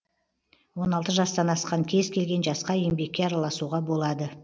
он алты жастан асқан кез келген жасқа еңбекке араласуға болады